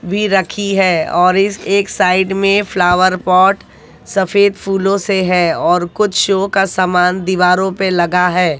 भी रखी है और इस एक साइड में फ्लावर पॉट सफेद फूलों से है और कुछ शो का समान दीवारों पे लगा है।